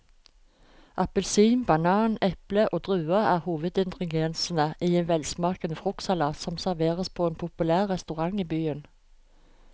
Appelsin, banan, eple og druer er hovedingredienser i en velsmakende fruktsalat som serveres på en populær restaurant i byen.